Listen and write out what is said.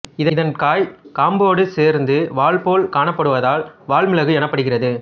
இதன் காய் காம்போடு சேர்ந்து வால்போல் காணப் படுவதால் வால்மிளகு எனப்படுகிறது